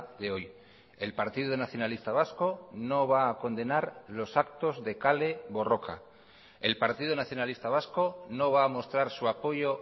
de hoy el partido nacionalista vasco no va a condenar los actos de kale borroka el partido nacionalista vasco no va a mostrar su apoyo